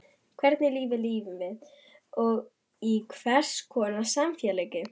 Hvernig lífi lifum við og í hvers konar samfélagi?